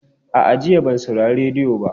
A'a, jiya ban saurari rediyo ba.